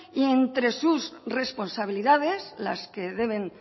y entre sus responsabilidades las que deben